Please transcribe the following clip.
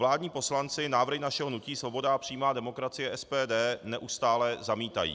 Vládní poslanci návrhy našeho hnutí Svoboda a přímá demokracie, SPD, neustále zamítají.